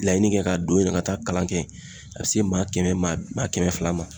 Laɲini kɛ ka don yɛrɛ ka taa kalan kɛ yen a be se maa kɛmɛ maa maa kɛmɛ fila ma